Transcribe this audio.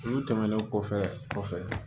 Olu tɛmɛnen kɔfɛ